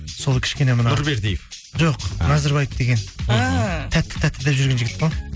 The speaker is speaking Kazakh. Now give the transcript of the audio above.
сол кішкене мына нұрбердиев жоқ назарбаев деген ііі тәтті тәтті деп жүрген жігіт қой